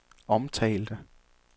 omtalte